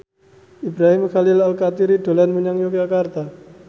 Ibrahim Khalil Alkatiri dolan menyang Yogyakarta